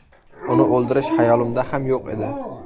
Uni o‘ldirish hayolimda ham yo‘q edi.